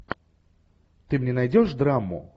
ты мне найдешь драму